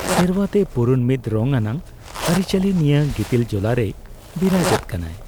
ᱥᱮᱨᱣᱟᱛᱮ ᱯᱩᱨᱩᱱ ᱢᱤᱫ ᱨᱚᱝ ᱟᱱᱟᱜ ᱟᱹᱨᱤᱪᱟᱹᱞᱤ ᱱᱤᱭᱟᱹ ᱜᱤᱛᱤᱞ ᱡᱚᱞᱟᱨᱮᱭ ᱵᱤᱨᱟᱹᱡᱮᱫ ᱠᱟᱱᱟ ᱾